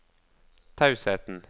tausheten